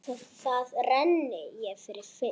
Þar renni ég fyrir fisk.